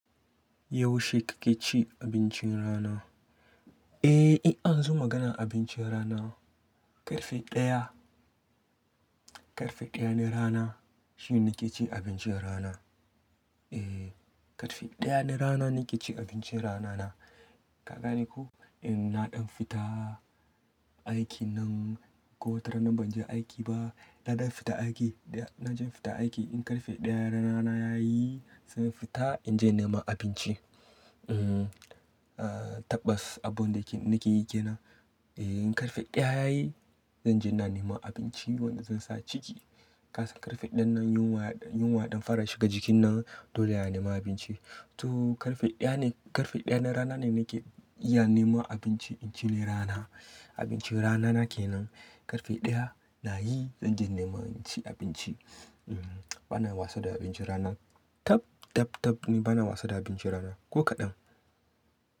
Yaushe kake ci abincin rana? Eh, in aka zo magana abincin rana, ƙarfe ɗaya, ƙarfe ɗaya na rana shine nake cin abincin rana. Eh, ƙarfe ɗaya na rana nake cin abincin rana na. Ka gane ko? In na ɗan fita aiki nan ko wata rana ban je aiki ba, na ɗan fita aiki da na je fita aiki, in ƙarfe ɗaya rana na yayi, zan fita in je na nema abinci. Ehn, tabbas abun da nake yi ke nan. Eh, in ƙarfe ɗaya yayi zan je na nema abinci wanda zan sa a ciki. Kasan ƙarfe ɗayan nan yunwa, yunwa ɗan fara shiga jikin nan, dole a nema abinci. To ƙarfe ɗaya ne, ƙarfe ɗaya na rana ne nake iya nema abinci, inci ne rana. Abincin rana na kenan. Ƙarfe ɗaya na yi zan je nema in ci abinci. Bana wasa da abincin rana. Tab, tab, tab nu bana wasa da abincin rana. Ko kaɗan.